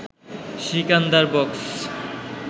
Sikandar box